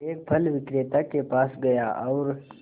एक फल विक्रेता के पास गया और